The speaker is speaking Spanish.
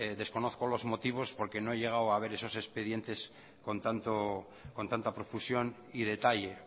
desconozco los motivos porque no he llegado a ver esos expedientes con tanta profusión y detalle